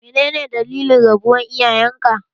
Menene dalilin rabuwar iyayenka?